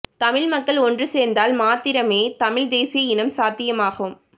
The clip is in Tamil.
தமிழ் மக்கள் ஒன்று சேர்ந்தால் மாத்திரமே தமிழ் தேசிய இனம் சாத்தியமாகும்